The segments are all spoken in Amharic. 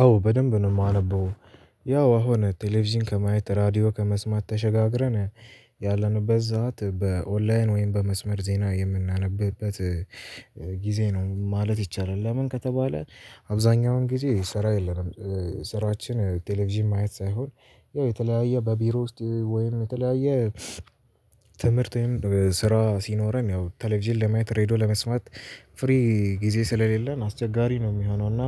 አዎ በደንብ ነው የማነበው ያው አሁን ቴሌቪዥን ከማየት ራዲዮ ከመስማት ተሸጋግረን ያለንበት ዘመን በኦንላይን ወይም በመስመር ዜና የምናነብበት ጊዜ ነው ማለት ይቻላል። ለምን ከተባለ? አብዛኛውን ጊዜ ስራ የለንም ስራችን ቴሌቪዥን ማየት ሳይሆን ያው የተለያየ በቢሮ ውስጥ ወይን የተለያየ ትምህርት ወይም ስራ ሲኖረን ያው ቴሌቪዥን ለማየት ሬድዮ ለመስማት ፍሪ ጊዜ ስለሌለን አስቸጋሪ ነው የሚሆነው። እና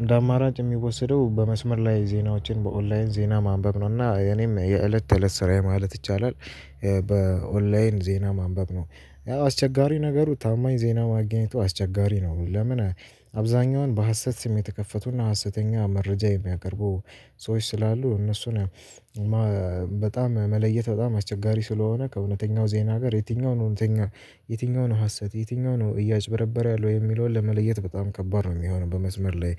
እንደ አማራጭ የሚወሰደው በመስመር ላይ ዜናዎችን በኦንላይን ዜና ማንበብ ነው እና እኔም የእለት ተእለት ስራዬ ማለት ይቻላል። በኦንላይን ዜና ማንበብ ነው ያው አስቸጋሪ ነገሩ ታማኝ ዜና ማግኘቱ አስቸጋሪ ነው። ለምን አብዛኛውን በሀሰት ስም የተከፈቱና ሀሰተኛ መረጃ የሚያቀርቡ ሰዎች ስላሉ እነሱን በጣም መለየት በጣም አስቸጋሪ ስለሆነ ከእውነተኛው ዜና ጋር የትኛው ነው እውነተኛ የትኛው ነው ሀሰት የትኛው ነው እያጭበረበረ ያለው የሚለውን ለመለየት በጣም ከባድ ነው የሚሆነው። በመስመር ላይ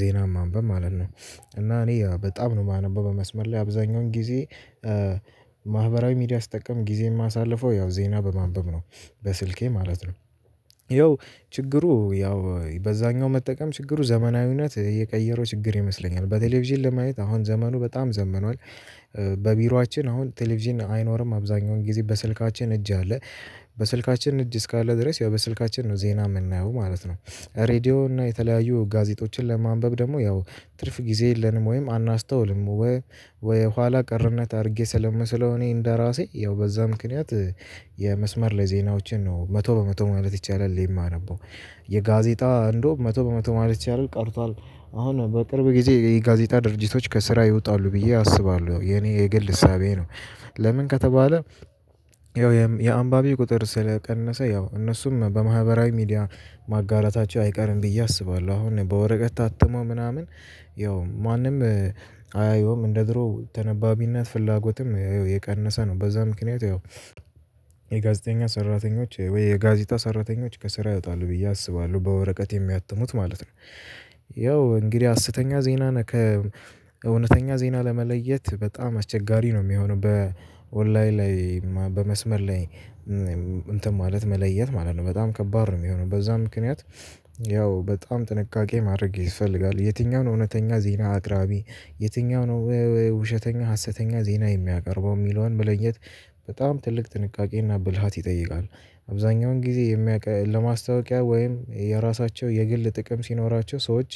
ዜናም ማንበብ ማለት ነው። እና እኔ በጣም ነው የማነበው በመስመር ላይ አብዛኛውን ጊዜ ማህበራዊ ሚዲያ ስጠቀም ጊዜ የማሳልፈው ያው ዜና በማንበብ ነው። በስልኬ ማለት ነው። ይኸው ችግሩ ያው በዛኛው መጠቀም ችግሩ ዘመናዊነት እየቀየረው ችግር ይመስለኛል። በቴሌቪዥን ለማየት አሁን ዘመኑ በጣም ዘምኗል። በቢሯችን አሁን ቴሌቪዥን አይኖርም አብዛኛውን ጊዜ በስልካችን እጅ አለ በስልካችን እጅ እስካለ ድረስ ያው በስልካችን ነው ዜና የምናየው ማለት ነው። ሬድዮ እና የተለያዩ ጋዜጦችን ለማንበብ ደግሞ ያው ትርፍ ጊዜ የለንም ወይም አናስተውልም ወይ ወይ ኋላ ቀርነት አድርጌ ስለምስለው እኔ እንደራሴ ያው በዛ ምክንያት የመስመር ላይ ዜናዎችን ነው መቶ በመቶ ማለት ይቻላል የማነበው። የጋዜጣ እንደውም መቶ በመቶ ማለት ይቻላል ቀርቷል። አሁን በቅርብ ጊዜ የጋዜጣ ድርጅቶች ከስራ ይወጣሉ ብዬ አስባለሁ የኔ የግል እሳቤ ነው። ለምን ከተባለ? ያው የአንባቢ ቁጥር ስለቀነሰ ያው እነሱም በማህበራዊ ሚዲያ ማጋራታቸው አይቀርም ብዬ አስባለሁ አሁን በወረቀት ታትሞ ምናምን ያው ማንም አያየውም እንደ ድሮ ተነባቢነት ፍላጎትም ይኸው የቀነሰ ነው። በዛ ምክንያት ይኸው የጋዜጠኞች ሰራተኞች ወይ የጋዜጣ ሰራተኞች ከስራ ያወጣል ብዬ አስባለሁ በወረቀት የሚያትሙት ማለት ነው። ያው እንግዲህ ሃሰተኛ ዜናን ከእውነተኛ ዜና ለመለየት በጣም አስቸጋሪ ነው የሚሆነው። በኦንላይን ላይ በመስመር ላይ እንትን ማለት መለየት ማለት ነው በጣም ከባድ ነው የሚሆነው። በዛ ምክንያት ያው በጣም ጥንቃቄ ማድረግ ይስፈልጋል። የትኛውን እውነተኛ ዜና አቅራቢ የትኛው ነው ውሸተኛ ሀሰተኛ ዜና የሚያቀርበው የሚለውን መለየት በጣም ትልቅ ጥንቃቄና ብልሃት ይጠይቃል። አብዛኛውን ጊዜ የሚያውቀን ለማስታወቂያ ወይም የራሳቸው የግል ጥቅም ሲኖራቸው ሰዎች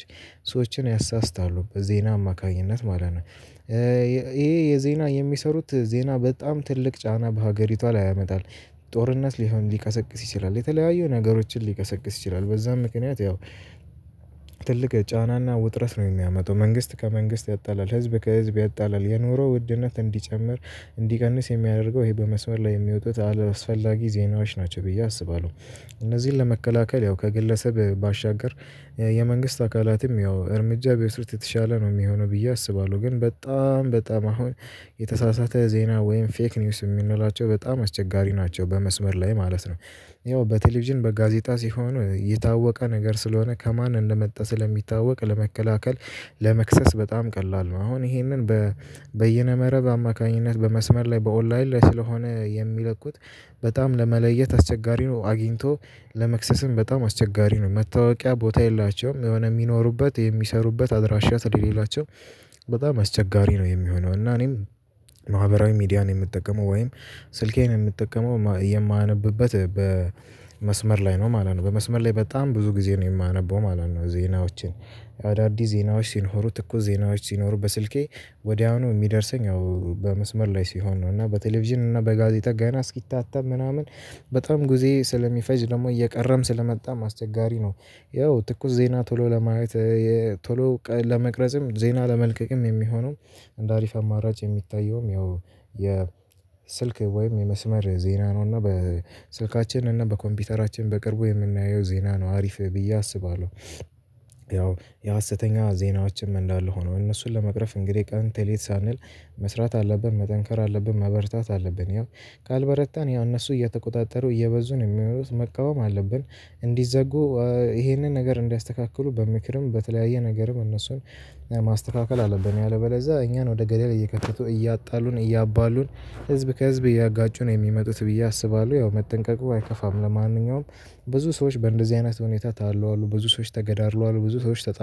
ሰዎችን ያሳስታሉ በዜና አማካኝነት ማለት ነው። የዜና የሚሰሩት ዜና በጣም ትልቅ ጫና በሀገሪቷ ላይ ያመጣል። ጦርነት ሊሆን ሊቀሰቅስ ይችላል የተለያዩ ነገሮችን ሊቀሰቅስ ይችላል። በዛም ምክንያት ያው ትልቅ ጫናና ውጥረት ነው የሚያመጣው። መንግስት ከመንግስት ያጣላል ህዝብ ከህዝብ ያጣላል የኑሮ ውድነት እንዲጨምር እንዲቀንስ የሚያደርገው ይሄ በመስመር ላይ የሚወጡት አላስፈላጊ ዜናዎች ናቸው ብዬ አስባለሁ። እነዚህን ለመከላከል ያው ከግለሰብ ባሻገር የመንግስት አካላትም ያው እርምጃ ቢወስዱ የተሻለ ነው የሚሆነው ብዬ አስባለሁ። ግን በጣም በጣም አሁን የተሳሳተ ዜና ወይም ፌክ ኒውስ የምንላቸው በጣም አስቸጋሪ ናቸው በመስመር ላይ ማለት ነው። ያው በቴሌቪዥን በጋዜጣ ሲሆን የታወቀ ነገር ስለሆነ ከማን እንደመጣ ስለሚታወቅ ለመከላከል ለመክሰስ በጣም ቀላል ነው። አሁን ይሄንን በየነ መረብ አማካኝነት በመስመር ላይ በኦላይን ላይ ስለሆነ የሚለቁት በጣም ለመለየት አስቸጋሪ ነው። አግኝቶ ለመክሰስም በጣም አስቸጋሪ ነው መታወቂያ ቦታ የላቸውም የሆነ የሚኖሩበት የሚሰሩበት አድራሻ ስለሌላቸው በጣም አስቸጋሪ ነው የሚሆነው። እና እኔም ማህበራዊ ሚዲያን የምጠቀመው ወይም ስልኬን የምጠቀመው የማነብበት በመስመር ላይ ነው ማለት ነው። በመስመር ላይ በጣም ብዙ ጊዜ ነው የማነበው ማለት ነው። ዜናዎችን አዳዲስ ዜናዎች ሲኖሩ ትኩስ ዜናዎች ሲኖሩ በስልኬ ወዲያውኑ የሚደርሰኝ በመስመር ላይ ሲሆን ነው። እና በቴሌቪዥን እና በጋዜጣ ገና እስኪታተም ምናምን በጣም ጊዜ ስለሚፈጅ ደግሞ እየቀረም ስለመጣም አስቸጋሪ ነው። ያው ትኩስ ዜና ቶሎ ለማየት ቶሎ ለመቅረጽም ዜና ለመልቀቅም የሚሆነው እንደ አሪፍ አማራጭ የሚታየውም ያው የስልክ ወይም የመስመር ዜና ነው። እና በስልካችን እና በኮምፒውተራችን በቅርቡ የምናየው ዜና ነው አሪፍ ብዬ አስባለሁ። ያው የሀሰተኛ ዜናዎም እንዳለ ሆነው እነሱን ለመቅረፍ እንግዲህ ቀን ቴሌት ሳንል መስራት አለብን መጠንከር አለብን መበርታት አለብን። ያው ካልበረታን ያው እነሱ እየተቆጣጠሩ እየበዙ የሚመሩት መቃወም አለብን። እንዲዘጉ ይሄንን ነገር እንዲያስተካክሉ በምክርም በተለያየ ነገርም እነሱን ማስተካከል አለብን። ያለበለዛ እኛን ወደ ገዳል እየከተቱ እያጣሉን እያባሉን ህዝብ ከህዝብ እያጋጩ ነው የሚመጡት ብዬ አስባለሁ። ያው መጠንቀቁ አይከፋም። ለማንኛውም ብዙ ሰዎች በእንደዚህ አይነት ሁኔታ ታለዋል ብዙ ሰዎች ተገዳድሏል ብዙ ሰዎች ተጠ